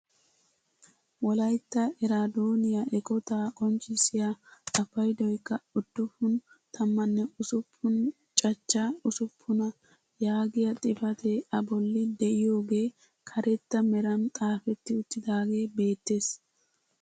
wolaytta eraadoniyaa eqotaa qonccisiyaa a paydoyikka uduppun tammanne usuppuna cachcha usuppunaa yaagiyaa xifatee a bolli de'iyooge karetta meran xaafetti uttidagee beettees.